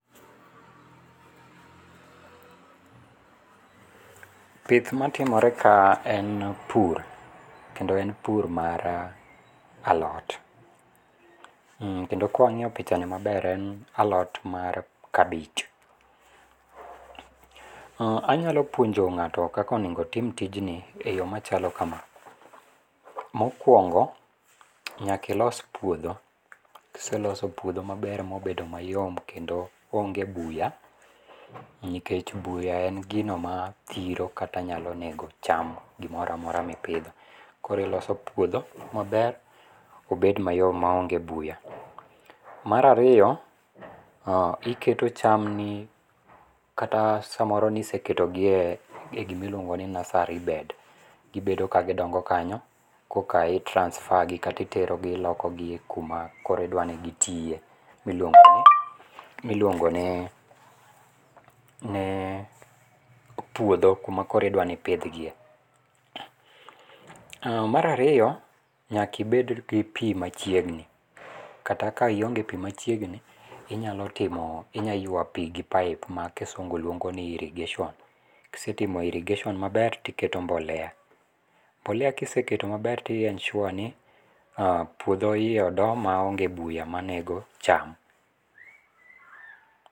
pith matimore ka en pur, kendo en pur mar alot, kendo kwa wang'iyo pichani maber, en alot mar cabbage. Anyalo puonjo ng'ato kako onego otim tijni e yo machalo kama. Mokwongo, nyakilos puodho. kiseloso puodho maber mobedo mayom kendo onge buya nikech buya en gino mathiro kata nyalo nego cham, gimoramora mipidho. Koro iloso puodho maber obed mayom maonge buya. Mar ariyo, iketo cham ni, kata samoro niseketo gi e gimi luongo ni nursery bed, gibedo ka gidongo kanyo, koka i transafer gi kata itero gi iloko kuma koro idwani gitie, miluongo miluongo ni puodho, kuma koro idwani ipidhgiye. Mara ariyo, nyakibed gi pii machiegni, kata ka ionge pii machiegni inyalo timo, inya yua pii gi pipe ma kisungu luongo ni irrigation. kisetimo irrigation maber, tiketo mbolea. Mbolea kiseketo maber ti ensure ni puodho iye odo maonge buya manego cham.